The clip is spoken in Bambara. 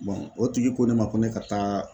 o tigi ko ne ma, ko ne ka taa